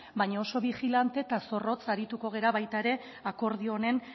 baina oso bigilante eta zorrotz arituko gara baita ere akordio honen